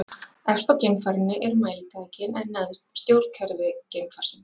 Efst á geimfarinu eru mælitækin, en neðst stjórnkerfi geimfarsins.